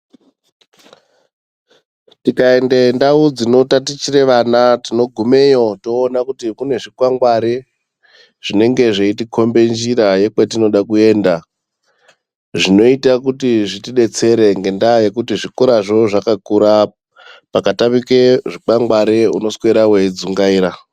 Tikaende ndau dzinotatichire vana ,tinogumeyo toona kuti kune zvikwangwari ,zvinenge zveitikhombe njira, yekwetinoda kuenda, zvinoita kuti zvitidetsere ,ngendaa yekuti zvikorazvo zvakakura. Pakatamike zvikwangwari ,unoswera weidzungaira.